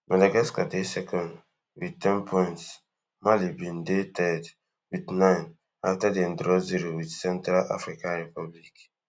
madagascar dey second wit ten points mali bin dey third wit nine points afta dem draw zero wit central africa republic